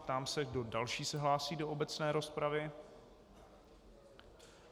Ptám se, kdo další se hlásí do obecné rozpravy.